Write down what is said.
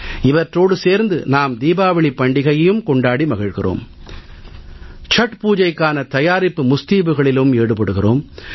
இவற்றோடு சேர்த்து நாம் தீபாவளிப் பண்டிகையையும் கொண்டாடி மகிழ்கிறோம் சட் பூஜைக்கான தயாரிப்பு முஸ்தீபுகளிலும் ஈடுபடுகிறோம்